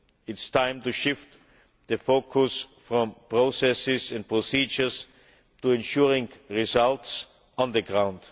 It is time to shift the focus from processes and procedures to ensuring results on the ground.